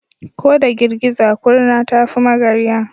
Ko da girgiza kurna ta fi magarya.